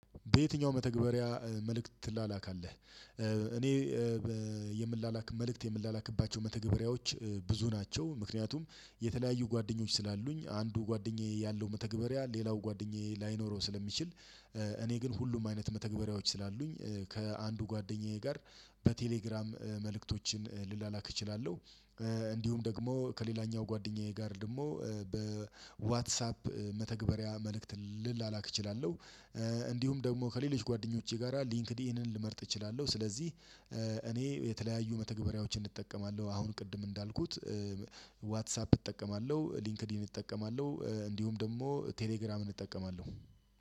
በየትኛው መተግበሪያ መልእክት ትላላካለህ? እኔ የምላላክ መልእክት የምላላክባቸው መተግበሪያዎች ብዙ ናቸው። ምክንያቱም የተለያዩ ጓደኞች ስላሉኝ አንዱ ጓደኛዬ ያለው መተግበሪያ ሌላው ጓደኛዬ ላይኖረው ስለሚችል። እኔ ግን ሁሉም አይነት መተግበሪያዎች ስላሉኝ ከአንዱ ጓደኛዬ ጋር በቴሌግራም መልእክቶችን ልላላክ እችላለሁ። እንዲሁም ደግሞ ከሌላኛው ጓደኛዬ ጋር ደግሞ በዋትሳፕ መተግበሪያ መልእክት ልላላክ እችላለሁ። እንዲሁም ደግሞ ከሌሎች ጓደኞቼ ጋራ ሊንክድኢንን ልመርጥ እችላለሁ ስለዚህ እኔ የተለያዩ መተግበሪያዎችን እጠቀማለሁ። አሁን ቅድም እንዳልኩት ዋትሳፕ እጠቀማለሁ ሊንክድኢን እጠቀማለሁ እንዲሁም ደግሞ ቴሌግራምን እጠቀማለሁ።